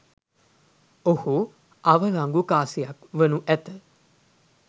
ඔහු අවලංගු කාසියක් වනු ඇත.